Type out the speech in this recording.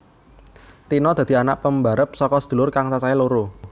Tina dadi anak pambarep saka sedulur kang cacahe loro